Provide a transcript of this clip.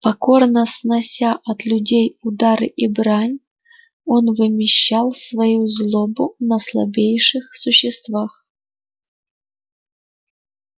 покорно снося от людей удары и брань он вымещал свою злобу на слабейших существах